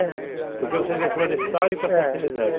É. Porque vocês reflorestaram e passou a ser reserva? É.